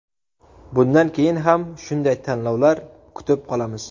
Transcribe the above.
Bundan keyin ham shunday tanlovlar kutib qolamiz.